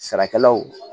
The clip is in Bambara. Sarakalaw